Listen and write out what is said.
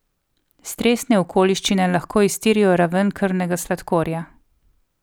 Stresne okoliščine lahko iztirijo raven krvnega sladkorja.